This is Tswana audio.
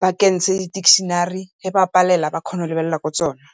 ba kentshe di-dictionary ga ba palelwa ba kgone go lebelela mo tsone.